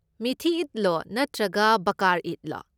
ꯃꯤꯊꯤ ꯏꯗꯂꯣ ꯅꯠꯇ꯭ꯔꯒ ꯕꯥꯀꯔ ꯏꯗꯂꯣ?